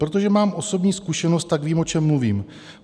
Protože mám osobní zkušenost, tak vím, o čem mluvím.